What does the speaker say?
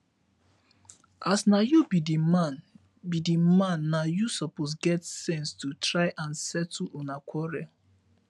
as na you be the man be the man na you suppose get sense to try and settle una quarrel